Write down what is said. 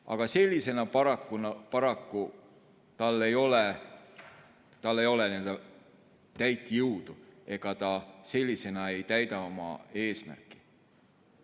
Aga sellisena tal paraku ei ole täit jõudu, sellisena ei täida ta oma eesmärki.